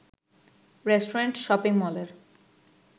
restaurant, shopping মলের